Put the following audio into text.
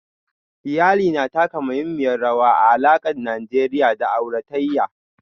Iyali na taka muhimmiyar rawa a alakar Najeriya da auratayya